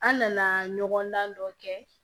An nana ɲɔgɔndan dɔ kɛ